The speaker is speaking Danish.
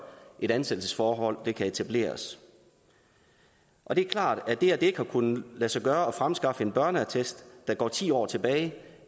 et ansættelsesforhold kan etableres og det er klart at det at det ikke har kunnet lade sig gøre at fremskaffe en børneattest der går ti år tilbage